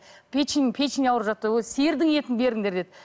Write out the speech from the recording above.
печень печень ауырып жатты сиырдың етін беріңдер деді